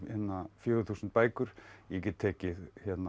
fjögur þúsund bækur ég get tekið